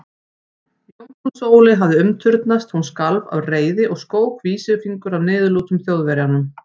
Jómfrú Sóley hafði umturnast, hún skalf af reiði og skók vísifingur að niðurlútum Þjóðverjanum.